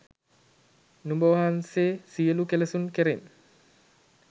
නුඹ වහන්සේ සියලු කෙලෙසුන් කෙරෙන්